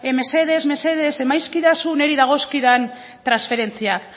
mesedez mesedez emazkidazu niri dagozkidan transferentziak